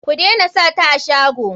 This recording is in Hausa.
Ku dena sata a shago.